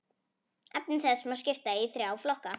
Efni þess má skipta í þrjá flokka.